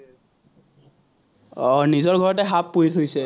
আহ নিজৰ ঘৰতে সাপ পুহি থৈছে।